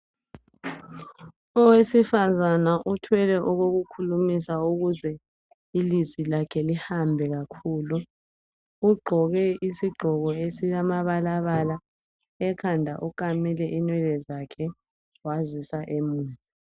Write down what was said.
Owesifazana uthwele okokukhulumisa ukuze ilizwi lakhe lihambe kakhulu ugqoke isigqoko esilamabala bala ekhanda ukamile inwele zakhe wazisa emuva